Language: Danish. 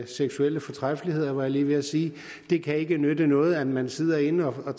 seksuelle fortræffeligheder var jeg lige ved at sige det kan ikke nytte noget at man sidder inde og